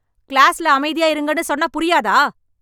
க்ளாஸிலே அமைதியாயிருங்கனு சொன்னா புரியாதா?